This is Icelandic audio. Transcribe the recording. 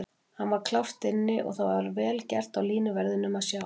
Hann var klárt inni og það var vel gert hjá línuverðinum að sjá það.